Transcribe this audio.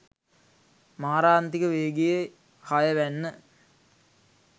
මාරාන්තික වේගයේ හය වැන්න